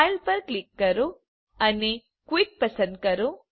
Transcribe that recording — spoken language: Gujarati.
ફાઇલ પર ક્લિક કરો અને ક્વિટ પસંદ કરો